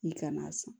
I kana sɔn